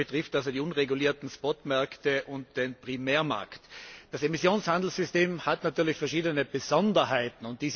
Sie betrifft also die unregulierten Spotmärkte und den Primärmarkt. Das Emissionshandelssystem hat natürlich verschiedene Besonderheiten.